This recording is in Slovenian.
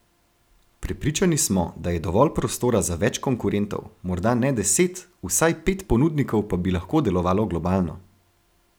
Prepričani smo, da je dovolj prostora za več konkurentov, morda ne deset, vsaj pet ponudnikov pa bi lahko delovalo globalno.